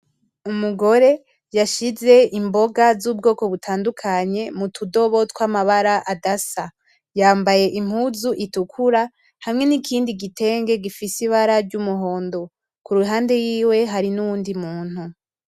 Umugore yashize imboga z'ubwoko butandukanye mutudobo twamabara adasa yambaye impuzu itukura hamwe nikindi gitege gifise ibara ry'umuhondo, kuruhande yiwe hari nuwundi umuntu.